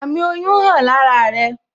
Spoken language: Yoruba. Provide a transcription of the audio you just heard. Àmì oyún hàn lára rẹ